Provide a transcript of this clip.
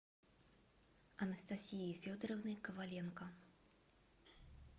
анастасии федоровны коваленко